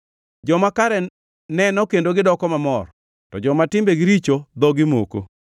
Joma kare neno kendo gidoko mamor; To joma timbegi richo dhogi moko.